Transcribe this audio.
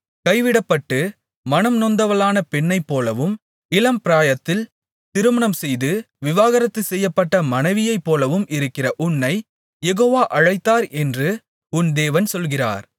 கைவிடப்பட்டு மனம்நொந்தவளான பெண்ணைப்போலவும் இளம்பிராயத்தில் திருமணம்செய்து விவாகரத்து செய்யப்பட்ட மனைவியைப்போலவும் இருக்கிற உன்னைக் யெகோவா அழைத்தார் என்று உன் தேவன் சொல்கிறார்